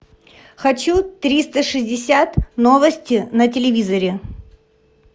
хочу триста шестьдесят новости на телевизоре